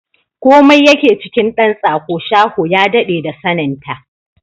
Komai yake cikin ɗan tsako, shaho ya daɗe da sanin ta!